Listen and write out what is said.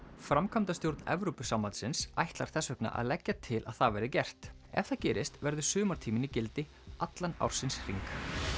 framkvæmdastjórn Evrópusambandsins ætlar þess vegna að leggja til að það verði gert ef það gerist verður sumartíminn í gildi allan ársins hring